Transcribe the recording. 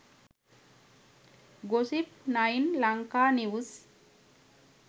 gossip 9 lanka news